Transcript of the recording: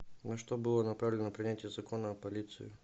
на что было направлено принятие закона о полиции